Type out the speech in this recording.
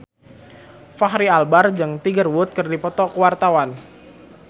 Fachri Albar jeung Tiger Wood keur dipoto ku wartawan